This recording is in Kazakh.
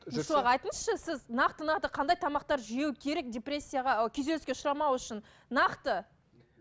айтыңызшы сіз нақты нақты қандай тамақтар жеу керек депрессияға күйзеліске ұшырамау үшін нақты